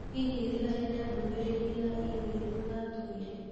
Hihi nĩ harĩna ndũmĩrĩri ya i-mīrū aatũmĩire?